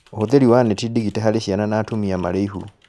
Ũhũthĩri wa neti ndigite harĩ ciana na atumia marĩ na ihu